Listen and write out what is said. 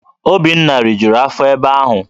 Obinna rijuru afọ ebe ahu